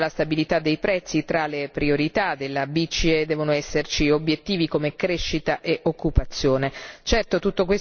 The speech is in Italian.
Credo che, oltre alla stabilità dei prezzi, tra le priorità della BCE devono esserci obiettivi come crescita e occupazione.